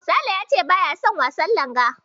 Sale ya ce baya son yin wasan Langa.